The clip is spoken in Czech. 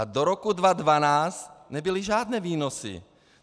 A do roku 2012 nebyly žádné výnosy.